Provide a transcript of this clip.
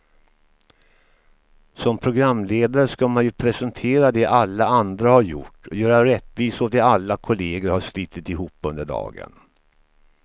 Som programledare ska man ju presentera det alla andra har gjort, göra rättvisa åt det alla kollegor har slitit ihop under dagen.